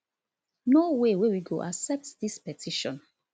no way wey we go accept dis petition